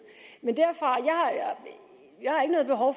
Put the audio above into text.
men jeg har ikke noget behov